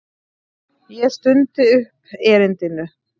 Ég stundi upp erindinu.